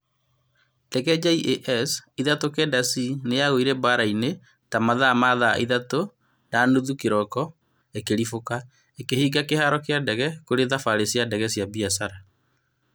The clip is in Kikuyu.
Ndege JAS 39c nĩyagũire barainĩ ya yo ta mathaa ma thaa ithatũ na nuthu kĩroko ĩkĩribũka, ĩkĩhinga kĩharo kĩa ndege kũrĩ thabarĩ cia ndege cia biacara.